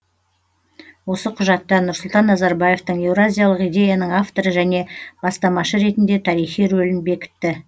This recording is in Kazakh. осы құжатта нұрсұлтан назарбаевтың еуразиялық идеяның авторы және бастамашы ретінде тарихи рөлін бекітті